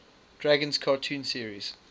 dragons cartoon series